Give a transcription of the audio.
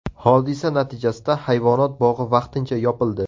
Hodisa natijasida hayvonot bog‘i vaqtincha yopildi.